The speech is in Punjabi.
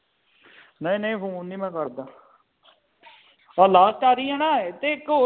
ਨਹੀਂ ਨਹੀਂ ਫੋਨ ਨਹੀਂ ਮੈਂ ਕਰਦਾ ਆ ਲਾਸਟ ਵਾਰੀ ਹੈ ਨਾ ਕੇ ਇਕ।